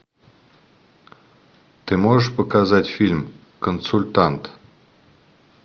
ты можешь показать фильм консультант